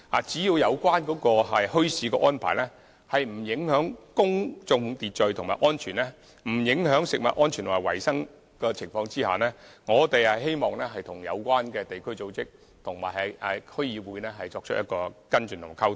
只要有關墟市的安排不影響公眾秩序及安全，亦不影響食物安全及衞生，我們希望與相關地區組織及區議會作出跟進及溝通。